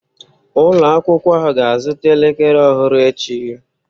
Ụlọ akwụkwọ ahụ ga-azụta elekere ọhụrụ echi.